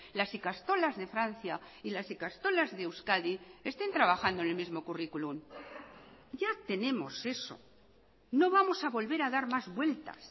las ikastolas de francia y las ikastolas de euskadi estén trabajando en el mismo currículum ya tenemos eso no vamos a volver a dar más vueltas